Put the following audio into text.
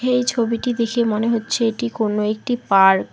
এই ছবিটি দেখে মনে হচ্ছে এটি কোনো একটি পার্ক ।